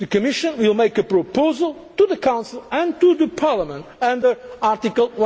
institutions. The Commission will make a proposal to the Council and to the Parliament